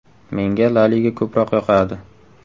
Menga La liga ko‘proq yoqadi.